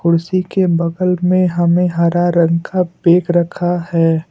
उसी के बगल में हमें हरा रंग का बेग रखा है।